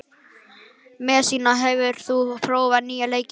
Messíana, hefur þú prófað nýja leikinn?